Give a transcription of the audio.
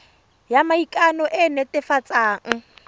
ya maikano e e netefatsang